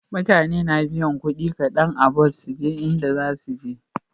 Mutane na biyan kudi kadan a bus suje inda zasuje